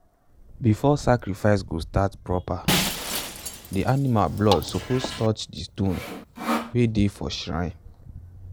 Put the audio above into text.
before sacrifice go start proper the animal blood suppose touch the stone wey dey for shrine.